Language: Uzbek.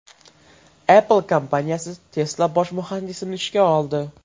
Apple kompaniyasi Tesla bosh muhandisini ishga oldi.